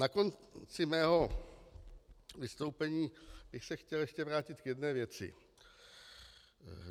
Na konci svého vystoupení bych se chtěl ještě vrátit k jedné věci.